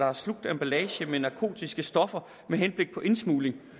har slugt emballage med narkotiske stoffer med henblik på indsmugling